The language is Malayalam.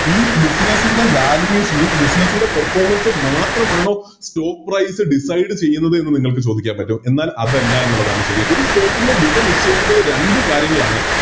ഇ Business ൻറെ Valuation ഈ Business ൻറെ Performance മാത്രമാണോ Stock price decide ചെയ്യുന്നത് എന്ന് നിങ്ങൾക്ക് ചോദിക്കാൻ പറ്റും എന്നാൽ അതല്ല എന്നുള്ളതാണ് ശെരി ഒരു Stock ൻറെ വില നിശ്ചയിക്കുന്നത് രണ്ട് കാര്യങ്ങളാണ്